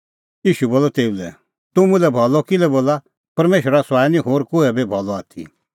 ईशू बोलअ तेऊ लै तूह मुल्है भलअ किल्है बोला परमेशरा सुआई निं होर कोहै बी भलअ आथी